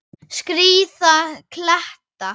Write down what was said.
Skríða kletta.